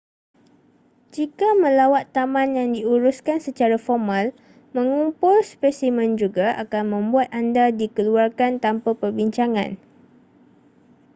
jika melawat taman yang diuruskan secara formal mengumpul spesimen juga akan membuat anda dikeluarkan tanpa perbincangan